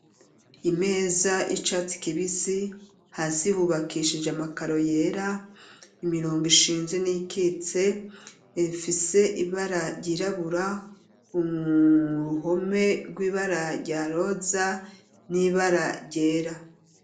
Imeza y'icatsi kibisi hasi ihubakishije amakaro yera imirongo ishinze n'ikitse ifise ibara ryirabura uruhome rw'ibara rya roza n'ibara ryera.